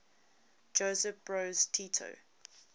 josip broz tito